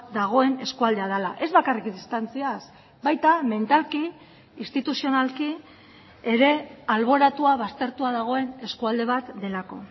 dagoen eskualdea dela ez bakarrik distantziaz baita mentalki instituzionalki ere alboratua baztertua dagoen eskualde bat delako